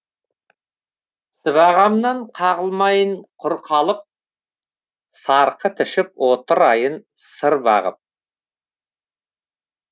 сыбағамнан қағылмайын құр қалып сарқыт ішіп отырайын сыр бағып